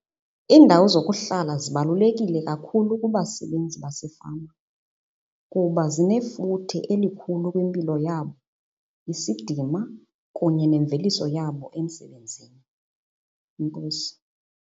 Iindawo zokuhlala zibalulekile kakhulu kubasebenzi basefama kuba zinefuthe elikhulu kwimpilo yabo, isidima kunye nemveliso yabo emsebenzini. Enkosi.